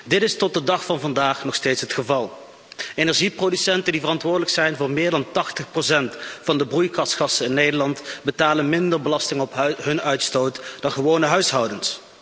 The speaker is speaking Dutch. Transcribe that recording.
Dit is tot de dag van vandaag nog steeds het geval. Energieproducenten die verantwoordelijk zijn voor meer dan 80 van de broeikasgassen in Nederland betalen minder belasting op hun uitstoot dan gewone huishoudens.